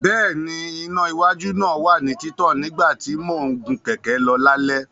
Bẹ́ẹ̀ni, iná iwájú náà wà ní títàn nígbà tí mò ń gun kẹ̀kẹ́ lọ lálẹ́.